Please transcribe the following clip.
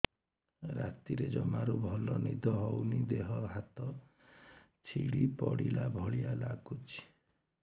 ରାତିରେ ଜମାରୁ ଭଲ ନିଦ ହଉନି ଦେହ ହାତ ଛିଡି ପଡିଲା ଭଳିଆ ଲାଗୁଚି